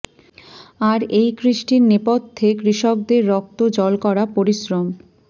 আর এই কৃষ্টির নেপথ্যে কৃষকদের রক্ত জল করা পরিশ্রম